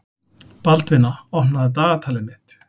Baldvina, opnaðu dagatalið mitt.